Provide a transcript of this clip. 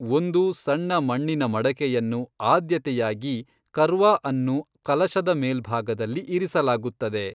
ಒಂದು ಸಣ್ಣ ಮಣ್ಣಿನ ಮಡಕೆಯನ್ನು, ಆದ್ಯತೆಯಾಗಿ ಕರ್ವಾ ಅನ್ನು ಕಲಶದ ಮೇಲ್ಭಾಗದಲ್ಲಿ ಇರಿಸಲಾಗುತ್ತದೆ.